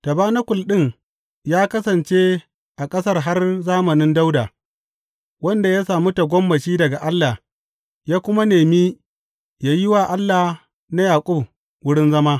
Tabanakul ɗin ya kasance a ƙasar har zamanin Dawuda, wanda ya sami tagomashi daga Allah, ya kuma nemi yă yi wa Allah na Yaƙub wurin zama.